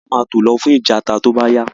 Gbogbo wa máa tó lọ fún ìtajà tó bá yá